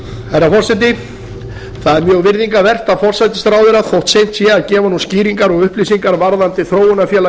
herra forseti það er mjög virðingarvert af forsætisráðherra þótt seint sé að gefa nú skýringar og upplýsingar varðandi þróunarfélag